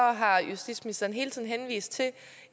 har justitsministeren hele tiden henvist til at